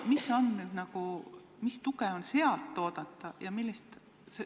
Mis toetust on selleks oodata?